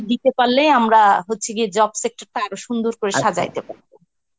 দিতে পারলেই আমরা হচ্ছি গিয়ে job sector টা আরো সুন্দর করে সাজাইতে পারব.